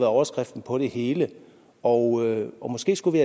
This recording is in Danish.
overskriften på det hele og og måske skulle vi